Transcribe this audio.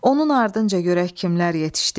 Onun ardınca görək kimlər yetişdi.